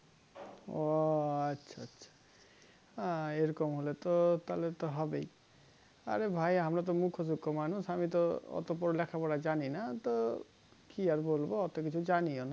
ও আচ্ছা আচ্ছা আহ এরকম হলে তো তাহলে তো হবেই আরে ভাই আমরা তো মূর্খ সুর্খ মানুষ আমি তো এতো লিখাপড়া জানিনা তো কি আর বলবো এতো কিছু জানিওনা